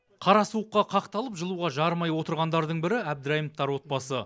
қара суыққа қақталып жылуға жарымай отырғандардың бірі әбдірайымовтар отбасы